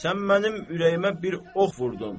Sən mənim ürəyimə bir ox vurdun.